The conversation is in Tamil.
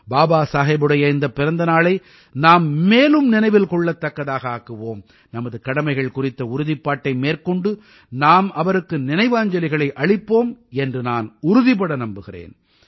பாபா சாஹேபுடைய இந்தப் பிறந்த நாளை நாம் மேலும் நினைவில் கொள்ளத்தக்கதாக ஆக்குவோம் நமது கடமைகள் குறித்த உறுதிப்பாட்டை மேற்கொண்டு நாம் அவருக்கு நினைவாஞ்சலிகளை அளிப்போம் என்று நான் உறுதிபட நம்புகிறேன்